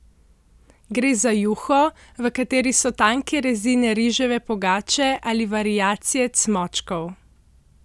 Gre za juho, v kateri so tanke rezine riževe pogače ali variacije cmočkov.